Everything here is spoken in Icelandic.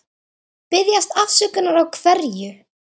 Biðjast afsökunar á hverju?